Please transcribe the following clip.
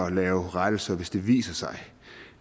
at lave rettelser hvis det viser sig